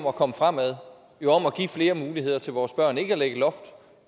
at komme fremad jo om at give flere muligheder til vores børn ikke at lægge loft